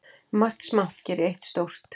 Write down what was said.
Margt smátt geri eitt stórt.